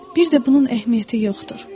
Bir də bunun əhəmiyyəti yoxdur.